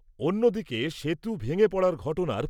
অন্যদিকে, সেতু ভেঙে পড়ার ঘটনার